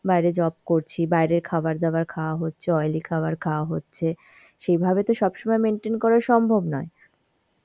বাইরে job করছি, বাইরের খাবার দাবার খাওয়া হচ্ছে, oily খাবার খাওয়া হচ্ছে, সেইভাবে তো সব সময় maintain করা সম্ভব নয়.